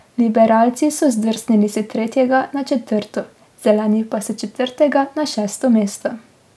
Liberalci so zdrsnili s tretjega na četrto, Zeleni pa s četrtega na šesto mesto.